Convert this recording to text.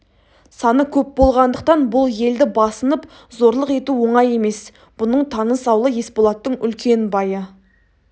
саны көп болғандықтан бұл елді басынып зорлық ету оңай емес бұның таныс аулы есболаттың үлкен байы